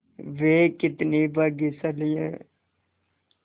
वे कितने भाग्यशाली हैं